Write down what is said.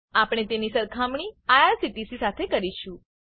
આપણે તેની સરખામણી આઇઆરસીટીસી સાથે કરીશું